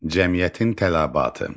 Cəmiyyətin tələbatı.